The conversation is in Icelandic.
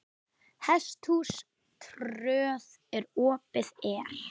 Hesthús tröð hér opið er.